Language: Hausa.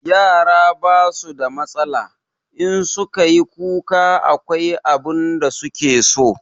Yara ba su da matsala, in su ka yi kuka akwai abin da su ke so.